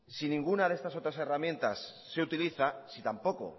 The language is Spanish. si ninguna de estas otras herramientas se utiliza si tampoco